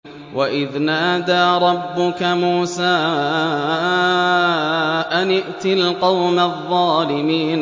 وَإِذْ نَادَىٰ رَبُّكَ مُوسَىٰ أَنِ ائْتِ الْقَوْمَ الظَّالِمِينَ